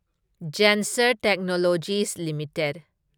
Zensar Technologies limited